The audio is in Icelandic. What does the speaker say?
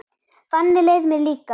Þannig leið mér líka.